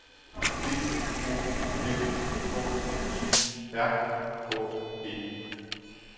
D O M K I R K E